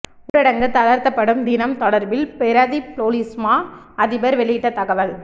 ஊரடங்கு தளர்த்தப்படும் தினம் தொடர்பில் பிரதிப் பொலிஸ்மா அதிபர் வெளியிட்ட தகவல்